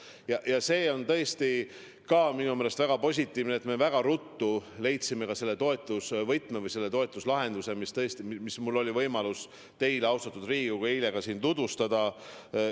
Ja ka see on minu meelest väga positiivne, et me nii ruttu leidsime selle toetusvõtme või selle toetuslahenduse, mida mul oli võimalus teile, austatud Riigikogu, eile tutvustada.